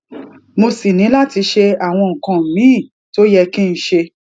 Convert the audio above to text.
mo sì ní láti ṣe àwọn nǹkan míì tó yẹ kí n ṣe